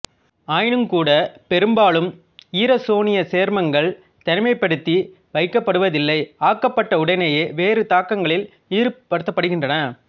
ஆயினுங் கூட பெரும்பாலும் ஈரசோனியச் சேர்மங்கள் தனிமைப்படுத்தி வைக்கப்படுவதில்லை ஆக்கப்பட்ட உடனேயே வேறு தாக்கங்களில் ஈடுபடுத்தப்படுகின்றன